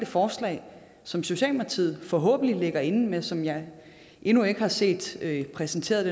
forslag som socialdemokratiet forhåbentlig ligger inde med men som jeg endnu ikke har set præsenteret